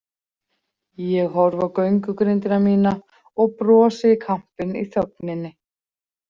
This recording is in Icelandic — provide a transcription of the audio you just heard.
Ég horfi á göngugrindina mína og brosi í kampinn í þögninni.